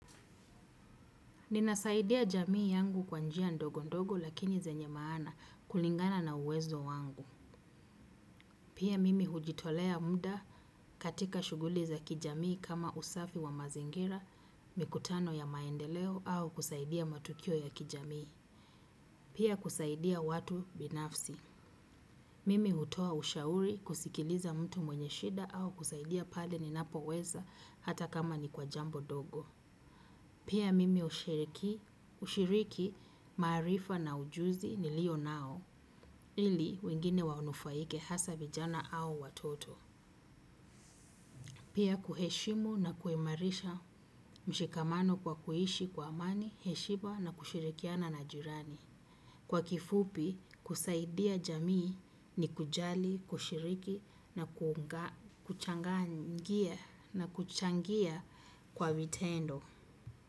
Nina saidia jamii yangu kwa njia ndogo ndogo lakini zenye maana kulingana na uwezo wangu. Pia mimi hujitolea muda katika shuguli za kijamii kama usafi wa mazingira, mikutano ya maendeleo au kusaidia matukio ya kijamii. Pia kusaidia watu binafsi. Mimi utoa ushauri kusikiliza mtu mwenye shida au kusaidia pale ni napo weza hata kama ni kwa jambo dogo. Pia mimi ushiriki, ushiriki, marifa na ujuzi nilio nao, ili wengine wanufaike hasa vijana au watoto. Pia kuheshimu na kuimarisha mshikamano kwa kuhishi kwa amani, heshima na kushirikiana na jirani. Kwa kifupi, kusaidia jamii ni kujali, kushiriki na kuchangia kwa vitendo.